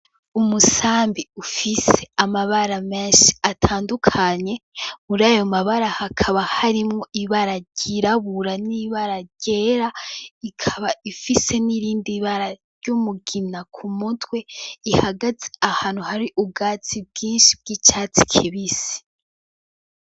Umusambi ufise amabara menshi atandukanye, murayo mabara hakaba harimwo ibara ryirabura n'ibara ryera, ikaba ifise nirindi bara ry'umugina ku mutwe ihagaze ahantu hari ubwatsi bwinshi bw'icatsi kibisi.